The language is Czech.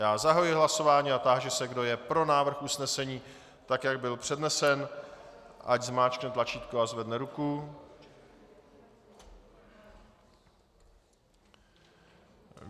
Já zahajuji hlasování a táži se, kdo je pro návrh usnesení, tak jak byl přednesen, ať zmáčkne tlačítko a zvedne ruku.